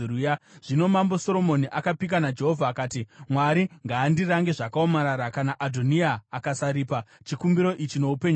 Zvino Mambo Soromoni akapika naJehovha akati, “Mwari ngaandirange zvakaomarara kana Adhoniya akasaripa chikumbiro ichi noupenyu hwake!